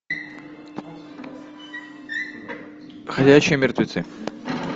ходячие мертвецы